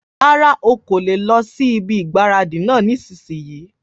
Rárá, ọ kò le lọ sí ibi ìgbáradì náà nísìínyi